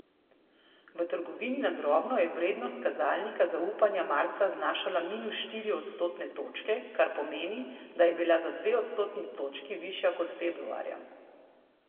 V trgovini na drobno je vrednost kazalnika zaupanja marca znašala minus štiri odstotne točke, kar pomeni, da je bila za dve odstotni točki višja kot februarja.